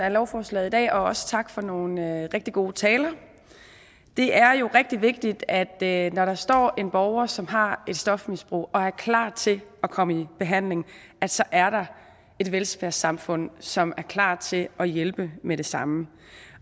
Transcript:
af lovforslaget i dag og også tak for nogle rigtig gode taler det er jo rigtig vigtigt at når der står en borger som har et stofmisbrug og er klar til at komme i behandling så er der et velfærdssamfund som er klar til at hjælpe med det samme